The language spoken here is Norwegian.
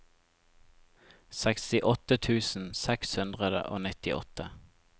sekstiåtte tusen seks hundre og nittiåtte